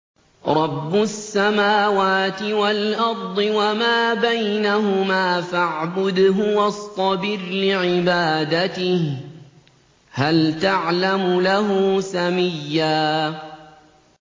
رَّبُّ السَّمَاوَاتِ وَالْأَرْضِ وَمَا بَيْنَهُمَا فَاعْبُدْهُ وَاصْطَبِرْ لِعِبَادَتِهِ ۚ هَلْ تَعْلَمُ لَهُ سَمِيًّا